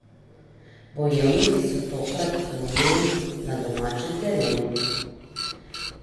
Bojevniki so tokrat klonili na domačem terenu.